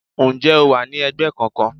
Ǹjẹ́ o wà ní ẹgbẹ́ kankan?